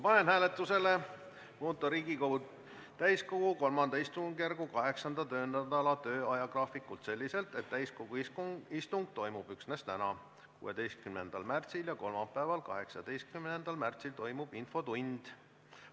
Panen hääletusele muuta Riigikogu täiskogu III istungjärgu 8. töönädala ajagraafikut selliselt, et täiskogu istung toimub üksnes täna, 16. märtsil, ja kolmapäeval, 18. märtsil toimub infotund.